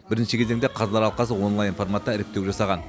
бірінші кезекте қазылар алқасы онлайн форматта іріктеу жасаған